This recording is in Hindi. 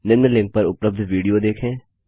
निम्न लिंक पर उपलब्ध विडियो देखें